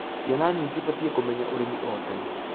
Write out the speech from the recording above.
Ciana nini cibatiĩ kũmenya ũrĩmi o,tene